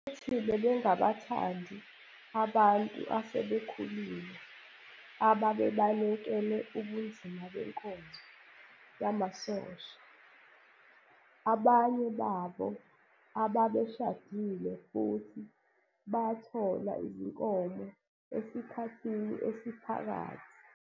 Futhi bebengabathandi abantu asebekhulile ababebalekele ubunzima benkonzo yamasosha, abanye babo ababeshadile futhi bathola izinkomo esikhathini esiphakathi.